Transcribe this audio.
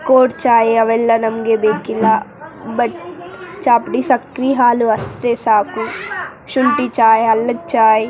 cold chai ಅವೆಲ್ಲ ನಮ್ಗೆ ಬೇಕಿಲ್ಲಾ ಬಟ್ ಚಾ ಪುಡಿ ಸಕ್ರಿ ಹಾಲು ಅಷ್ಟೇ ಸಾಕು ಶುಂಠಿ ಚಾಯ್ ಅಲ್ಲದ್ ಚಾಯ್ --